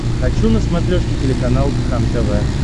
хочу на смотрешке телеканал кхлм тв